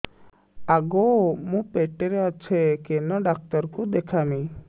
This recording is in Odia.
ଆଗୋ ମୁଁ ପେଟରେ ଅଛେ କେନ୍ ଡାକ୍ତର କୁ ଦେଖାମି